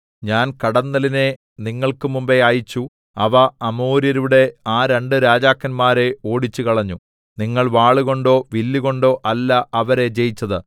ഞാൻ കടന്നലിനെ നിങ്ങൾക്ക് മുമ്പെ അയച്ചു അവ അമോര്യരുടെ ആ രണ്ടു രാജാക്കന്മാരെ ഓടിച്ചുകളഞ്ഞു നിങ്ങൾ വാളുകൊണ്ടോ വില്ലുകൊണ്ടൊ അല്ല അവരെ ജയിച്ചത്